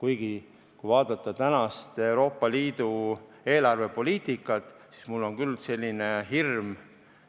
Kuigi, kui vaadata tänast Euroopa Liidu eelarvepoliitikat, siis mul on küll selline hirm